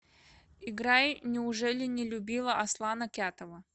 играй неужели не любила аслана кятова